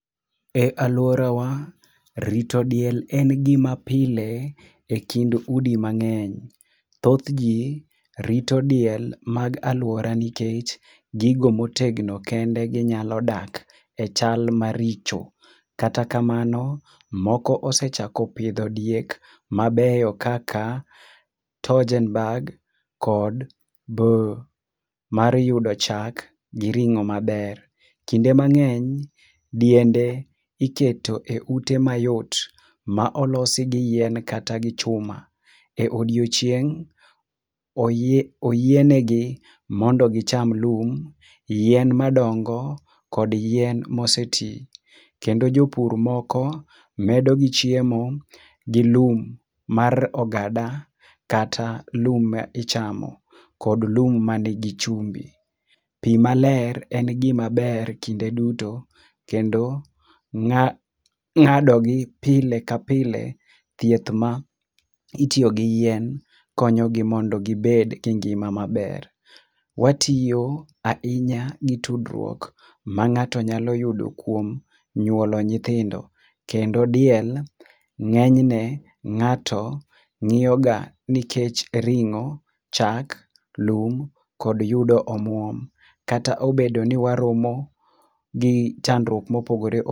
Ealuorawa rito diel en gima pile ekind udi mang'eny. Thoth ji rito diel mag aluora nikech gigo motegno kende ginyalo dak echal maricho. Kata kamano moko osechako pidho diek mabeyo kaka tojenbag kod boo mar yudo chak gi ring'o maber. Kinde mang'eny diende iketo eute mayot, ma. olosi gi yien kata gi chuma. E odiechieng' oyie negi mondo gicham lum, yien madongo, kod yien moseti. Kendo jopur moko medogi chiemo gi lum mar ogada kata lum ma ichamo kod lum manigi chumbi. Pi maler en gima ber kinde duto. Kendo ng'adogi pile kapile, thieth ma itiyo gi yien konyogi mondo gibed gi ngima maber. Watiyo ahinya gi tudruok ma ng'ato nyalo yudo kuom nyuolo nyithindo. Kendo diel ng'enyne ng'ato ng'iyoga nikech ring'o, chak, lum kod yudo omuom. Kata obedo ni waromo gi chandruok mopogore opogore